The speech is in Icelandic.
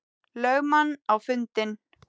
lögmann á fundinn.